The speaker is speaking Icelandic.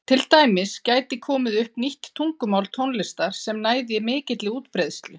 Til dæmis gæti komið upp nýtt tungumál tónlistar sem næði mikilli útbreiðslu.